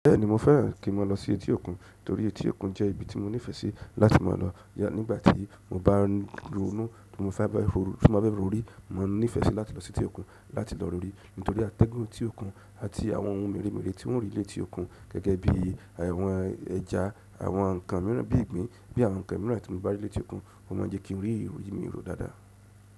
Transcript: Bẹ́ẹ̀ni, mo fẹ́ràn kí n maa lọ sí etí òkun, torí etí òkun jẹ́ ibi tí mo nífẹ̀ẹ́ sí láti máa lọ̀ ya nígbàtí mo bá n ronú, ti mo fa be foru tí mo bá fẹ́ rorí, máa n nífẹ̀ẹ́ sí láti lọ sí etí òkun láti lọ rorí, nítorí àtẹ́gùn tí òkun àti àwọn ohun mèremère tí ń rí létí òkun gẹ́gẹ́ bií àwọn ẹja, àwọn ǹkan míràn bí ìgbín, bí àwọn ǹkan míràn tí mo bá rí létí òkun, mo máa jẹ́ kí n rí ero orí mi rò dáadáa.